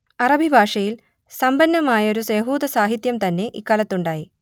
അറബി ഭാഷയിൽ സമ്പന്നമായൊരു യഹൂദസാഹിത്യം തന്നെ ഇക്കാലത്തുണ്ടായി